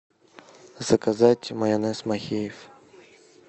заказать майонез махеев